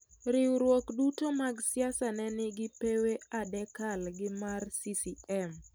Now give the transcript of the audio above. Riwruok duto mag siasa ne nigi pewe adekal gi mar CCM.